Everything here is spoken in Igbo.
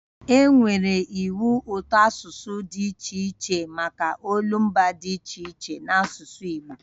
E nwere iwu ụtọasụsụ dị iche iche maka olumba dị iche iche n'asụsụ Igbo